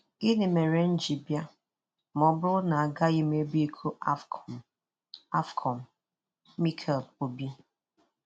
Gịnị mere m ji bịa ma ọ bụrụ na agaghị m ebu iko AFCON? AFCON? - Mikel Obi